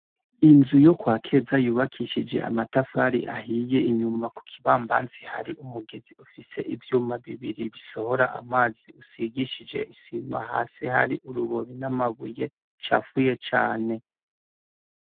Inzu yo kwa Keza yubakishije amatafari ahiye; Inyuma ku kibambanzi hari umugezi ufise ivyuma bibiri bisohora amazi usigishije isima. Hasi hari urubobi n'amabuye acafuye cane.